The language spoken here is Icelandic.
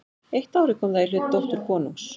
Eitt árið kom það í hlut dóttur konungs.